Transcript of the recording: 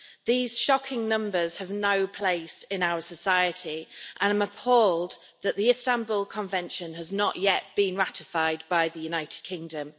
These shocking numbers have no place in our society, and I'm appalled that the Istanbul Convention has not yet been ratified by the United Kingdom.